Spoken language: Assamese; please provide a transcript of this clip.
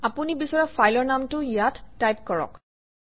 আপুনি বিচৰা ফাইলৰ নামটো ইয়াত টাইপ কৰক